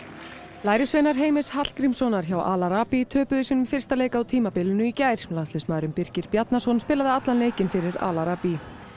lærisveinar Heimis Hallgrímssonar hjá Al töpuðu sínum fyrsta leik á tímabilinu í gær landsliðsmaðurinn Birkir Bjarnason spilaði allan leikinn fyrir Al